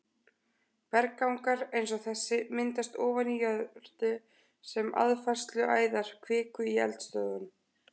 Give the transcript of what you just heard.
Berggangar eins og þessi myndast ofan í jörðu sem aðfærsluæðar kviku í eldstöðvum.